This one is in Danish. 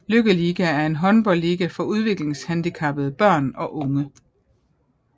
Lykkeliga er en håndboldliga for udviklingshandicappede børn og unge